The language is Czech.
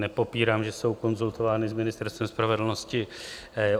Nepopírám, že jsou konzultovány s Ministerstvem spravedlnosti.